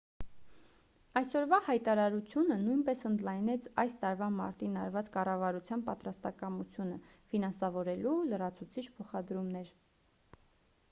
այսօրվա հայտարարությունը նույնպես ընդլայնեց այս տարվա մարտին արված կառավարության պատրաստակամությունը ֆինանսավորելու լրացուցիչ փոխադրումներ